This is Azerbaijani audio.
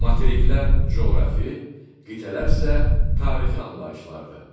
Materiklər coğrafi, qitələr isə tarixi anlayışlardır.